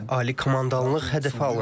Ali komandanlıq hədəfə alındı.